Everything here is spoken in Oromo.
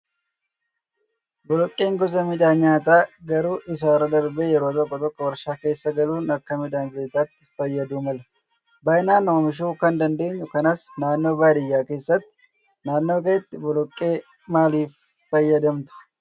Boloqqeen gosa midhaan nyaataa garuu isarra darbee yeroo tokko tokko waarshaa keessa galuun akka midhaan zayitaatti fayyaduu mala. Baay'inaan oomishuu kan dandeenyu kanas naannoo baadiyyaa keessatti. Naannoo keetti boloqqee maaliif fayyadamtuu?